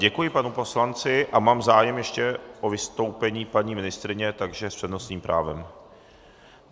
Děkuji panu poslanci a mám zájem ještě o vystoupení paní ministryně, takže s přednostním právem.